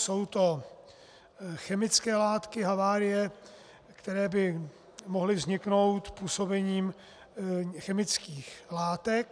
Jsou to chemické látky, havárie, které by mohly vzniknout působením chemických látek.